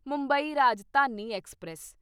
Mumbai Rajdhani express